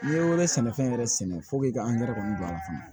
N'i ye wɛrɛ sɛnɛfɛn yɛrɛ sɛnɛ i ka angɛrɛ kɔni don a la fana